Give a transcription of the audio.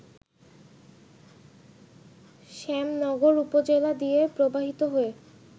শ্যামনগর উপজেলা দিয়ে প্রবাহিত হয়ে